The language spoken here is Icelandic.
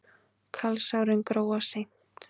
Kalsárin gróa seint.